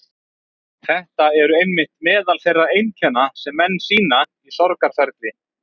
Þetta eru einmitt meðal þeirra einkenna sem menn sýna í sorgarferli.